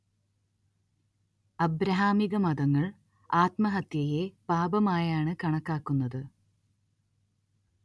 അബ്രഹാമികമതങ്ങൾ ആത്മഹത്യയെ പാപമായാണ് കണക്കാക്കുന്നത്